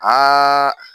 Aa